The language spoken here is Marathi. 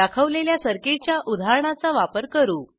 दाखवलेल्या सर्किटच्या उदाहरणाचा वापर करू